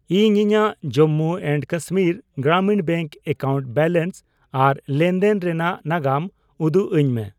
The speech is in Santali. ᱤᱧ ᱤᱧᱟᱜ Jammu and Kashmir Gramin bank account balance ᱟᱨ ᱞᱮᱱᱫᱮᱱ ᱨᱮᱱᱟᱜ ᱱᱟᱜᱟᱢ ᱩᱫᱩᱜ ᱟᱹᱧ ᱢᱮ